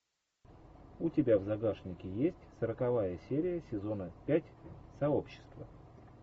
у тебя в загашнике есть сороковая серия сезона пять сообщество